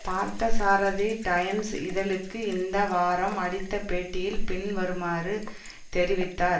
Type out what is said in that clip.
Parthasarathy Times இதழுக்கு இந்த வாரம் அளித்த பேட்டியில் பின்வருமாறு தெரிவித்தார்